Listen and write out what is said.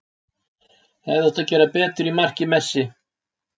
Hefði átt að gera betur í marki Messi.